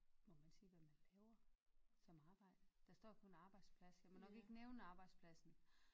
Må man sige hvad man laver? Som arbejde der står kun arbejdsplads jeg må nok ikke nævne arbejdspladsen